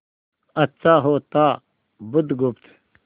अच्छा होता बुधगुप्त